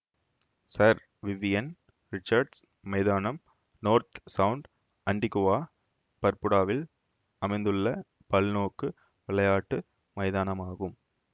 sir Vivian Richards மைதானம் North Sound Antigua பர்புடாவில் அமைந்துள்ள பல்நோக்கு விளையாட்டு மைதானமாகும்